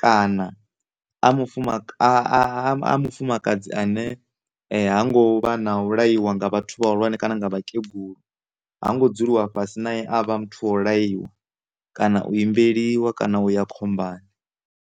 kana a mufumaka a mufumakadzi ane ha ngo vha na u laiwa nga vhathu vha hulwane kana nga vhakegulu ha ngo dzuliwa fhasi nae avha muthu wa u laiwa kana u imbeliwa kana u ya khombani.